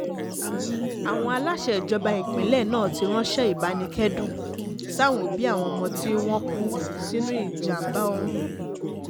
àwọn aláṣẹ ìjọba ìpínlẹ̀ náà ti ránṣẹ́ ìbánikẹ́dùn sáwọn òbí àwọn ọmọ tí wọ́n kú sínú ìjàm̀bá ọ̀hún